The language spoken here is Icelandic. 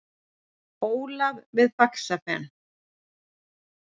Ólaf við Faxafen.